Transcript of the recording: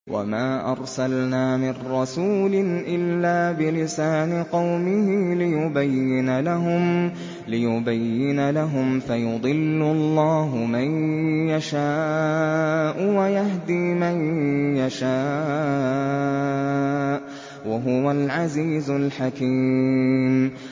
وَمَا أَرْسَلْنَا مِن رَّسُولٍ إِلَّا بِلِسَانِ قَوْمِهِ لِيُبَيِّنَ لَهُمْ ۖ فَيُضِلُّ اللَّهُ مَن يَشَاءُ وَيَهْدِي مَن يَشَاءُ ۚ وَهُوَ الْعَزِيزُ الْحَكِيمُ